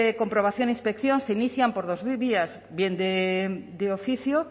comprobación e inspección se inician por dos vías bien de oficio